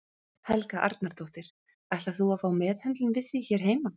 Helga Arnardóttir: Ætlar þú að fá meðhöndlun við því hér heima?